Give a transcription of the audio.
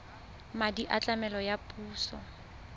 madi a tlamelo a puso